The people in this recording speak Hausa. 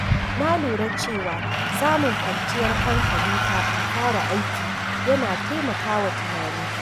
Na lura cewa samun kwanciyar hankali kafin fara aiki yana taimaka wa tunani.